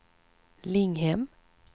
Linghem